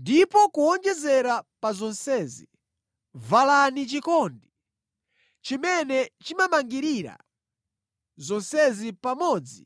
Ndipo kuwonjezera pa zonsezi valani chikondi, chimene chimangirira zonsezi pamodzi